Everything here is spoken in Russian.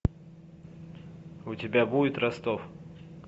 у тебя будет ростов